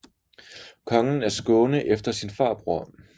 Konge af Skåne efter sin farbror